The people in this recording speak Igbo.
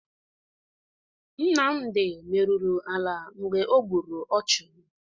Nmamdị merụrụ ala mgbe o gburu ọchụ.